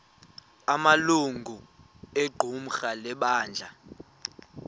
amalungu equmrhu lebandla